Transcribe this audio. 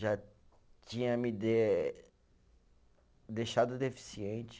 Já tinha me de eh, deixado deficiente.